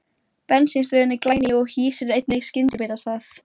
Bensínstöðin er glæný og hýsir einnig skyndibitastað.